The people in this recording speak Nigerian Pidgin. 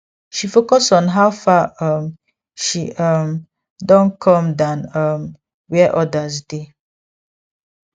she focus on how far um she um don come dan um where others dey